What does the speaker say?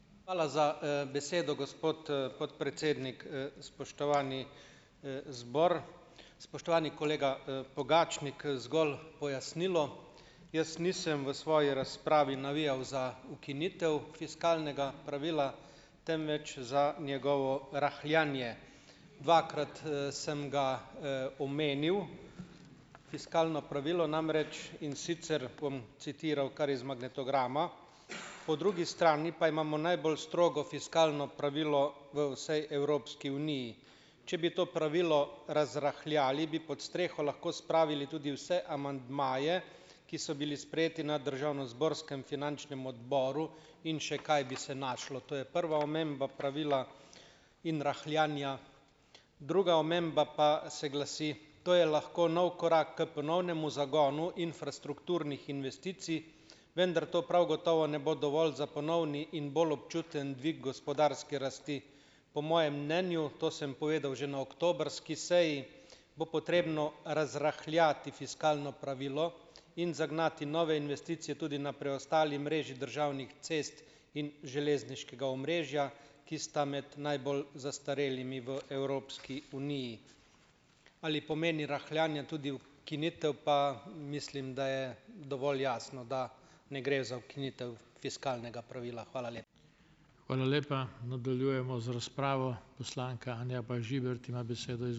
Hvala za, besedo, gospod, podpredsednik. Spoštovani, zbor, spoštovani kolega, Pogačnik. Zgolj pojasnilo - jaz nisem v svoji razpravi navijal za ukinitev fiskalnega pravila, temveč za njegovo rahljanje. Dvakrat, sem ga, omenil, fiskalno pravilo namreč, in sicer bom citiral kar iz magnetograma: Po drugi strani pa imamo najbolj strogo fiskalno pravilo v vsej Evropski uniji. Če bi to pravilo razrahljali, bi pod streho lahko spravili tudi vse amandmaje, ki so bili sprejeti na državnozborskem finančnem odboru, in še kaj bi se našlo. To je prva omemba pravila in rahljanja. Druga omemba pa se glasi: To je lahko nov korak k ponovnemu zagonu infrastrukturnih investicij, vendar to prav gotovo ne bo dovolj za ponovni in bolj občuten dvig gospodarske rasti. Po mojem mnenju, to sem povedal že na oktobrski seji, bo potrebno razrahljati fiskalno pravilo in zagnati nove investicije tudi na preostali mreži državnih cest in železniškega omrežja, ki sta med najbolj zastarelimi v Evropski uniji. Ali pomeni rahljanje tudi ukinitev, pa mislim, da je dovolj jasno, da ne gre za ukinitev fiskalnega pravila. Hvala